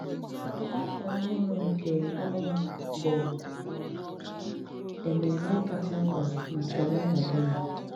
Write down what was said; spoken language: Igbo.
Àfọ Ọhụrụ nke Ọ̀nwa bụ émémmè kacha mk̀pà na kálèndà Ghánà.